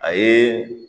A ye